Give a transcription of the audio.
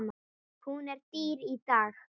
Hún er dýr í dag.